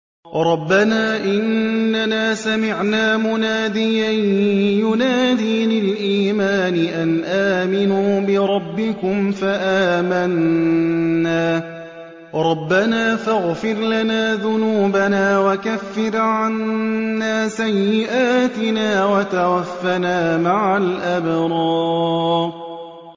رَّبَّنَا إِنَّنَا سَمِعْنَا مُنَادِيًا يُنَادِي لِلْإِيمَانِ أَنْ آمِنُوا بِرَبِّكُمْ فَآمَنَّا ۚ رَبَّنَا فَاغْفِرْ لَنَا ذُنُوبَنَا وَكَفِّرْ عَنَّا سَيِّئَاتِنَا وَتَوَفَّنَا مَعَ الْأَبْرَارِ